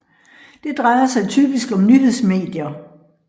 Det drejer sig typisk om nyhedsmedier